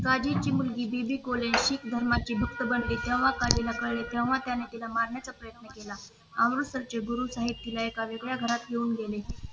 काळजीची मुलगी दीदी कोल्हे सिख धर्माची भक्त बनली तेव्हा कालीला कळले तेव्हा त्याने तिला मारण्याचा प्रयत्न केला अमृतसंच गुरु साहेब तिला एका वेगळ्या घरात घेऊन गेले